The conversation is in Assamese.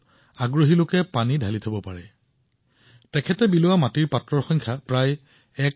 তেতিয়া তেওঁ ভাবিছিল যে তেওঁনো নিজেই কিয় মাটিৰ পাত্ৰ বিতৰণ কৰাৰ কাম আৰম্ভ নকৰে যাতে আনে কেৱল সেই বাচনবোৰ পানী ভৰ্তি কৰিলেই হল